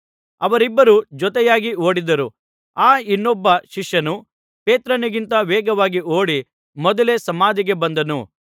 ಅವರಿಬ್ಬರೂ ಜೊತೆಯಾಗಿ ಓಡಿದರು ಆ ಇನ್ನೊಬ್ಬ ಶಿಷ್ಯನು ಪೇತ್ರನಿಗಿಂತ ವೇಗವಾಗಿ ಓಡಿ ಮೊದಲೇ ಸಮಾಧಿಗೆ ಬಂದನು